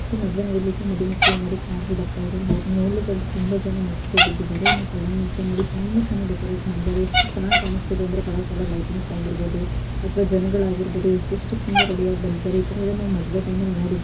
so ಮದುವೆ ನಡೀಲಿಕ್ಕೆ ಮದು ಮಕ್ಕಳು ನೋಡಿ ಕಾರಲ್ಲಿ ಬರ್ತಾಯಿದಾರೆ ಅವರನ್ನ ನೋಡ್ಲಿಕಂತು ತುಂಬಾ ಜನ ಮುತ್ತಿಗೆ ಬಿದ್ದಿದ್ದಾರೆ ಏನೋ ಕಲ್ಯಾಣಮಂಟಪ ನೋಡಿ ತುಂಬಾ ಚೆನ್ನಾಗಿ ಡೆಕೋರೇಟ್ ಮಾಡಿದ್ದಾರೆ ಎಷ್ಟು ಚೆನ್ನಾಗಿ ಕಾಣಸ್ತಾಇದೆ ಅಂದ್ರೆ ಕಲರ್ ಕಲರ್ ಲೈಟಿಂಗ್ಸ್ ಆಗಿರ್ಬಹುದು ಅಥವಾ ಜನಗಳಾಗಿರಬಹುದು ಇವತ್ತು ಎಷ್ಟು ಚಂದ ರೆಡಿ ಆಗಿ ಬಂದಿದ್ದಾರೆ ಈಥರ ಎಲ್ಲ ನಾವು ಮದುವೆ ಟೈಮ್ ಅಲ್ಲಿ ನೋಡಿರ್--